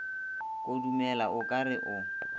kudumela o ka re o